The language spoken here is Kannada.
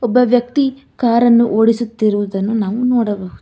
ಒಬ್ಬ ವ್ಯಕ್ತಿ ಕಾರನ್ನು ಓಡಿಸುತ್ತಿರುವುದನ್ನು ನಾವು ನೋಡಬಹುದು.